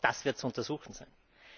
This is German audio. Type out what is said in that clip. Auch das wird zu untersuchen sein.